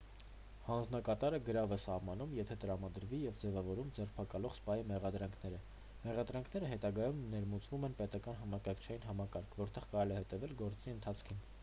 հանձնակատարը գրավ է սահմանում եթե տրամադրվի և ձևավորում ձերբակալող սպայի մեղադրանքները մեղադրանքները հետագայում ներմուծվում են պետական համակարգչային համակարգ որտեղ կարելի է հետևել գործի ընթացքին